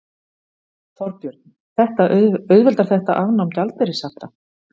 Þorbjörn: Auðveldar þetta afnám gjaldeyrishafta?